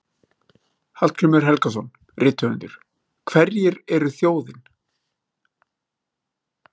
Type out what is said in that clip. Hallgrímur Helgason, rithöfundur: Hverjir eru þjóðin?